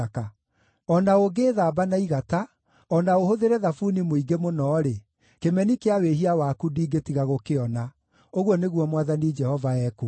O na ũngĩĩthamba na igata, o na ũhũthĩre thabuni mũingĩ mũno-rĩ, kĩmeni kĩa wĩhia waku ndingĩtiga gũkĩona,” ũguo nĩguo Mwathani Jehova ekuuga.